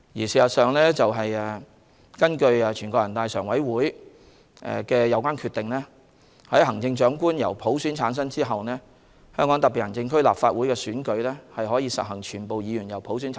事實上，根據全國人民代表大會常務委員會的有關決定，在行政長官經普選產生後，香港特別行政區立法會亦可普選產生。